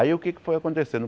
Aí o que é que foi acontecendo?